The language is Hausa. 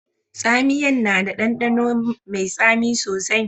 Tsamiyan na da dandano mai tsami sosai.